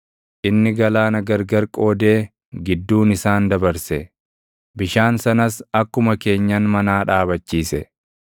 Inni galaana gargar qoodee gidduun isaan dabarse; bishaan sanas akkuma keenyan manaa dhaabachiise.